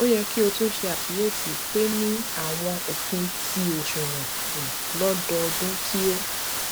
o yẹ ki o tun ṣe akiyesi pe ni awọn ofin ti oṣuwọn um lododun ti o